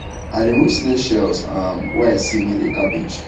i remove snail shells um wey i see near the cabbage